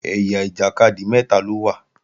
Ẹ̀yà ìjàkadì mẹ́ta ló wà